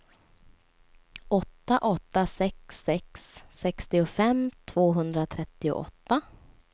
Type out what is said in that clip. åtta åtta sex sex sextiofem tvåhundratrettioåtta